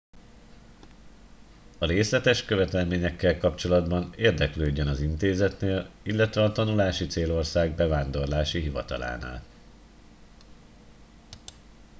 a részletes követelményekkel kapcsolatban érdeklődjön az intézetnél illetve a tanulási célország bevándorlási hivatalánál